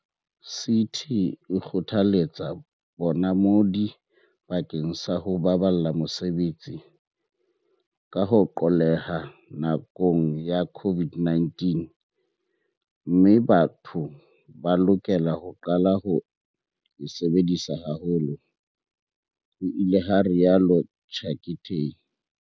"CT e kgothaletsa bonamodi bakeng sa ho baballa mesebetsi, ka ho qolleha nakong ya COVID-19, mme batho ba lokela ho qala ho e sebedisa haholo," ho ile ha rialo Chicktay.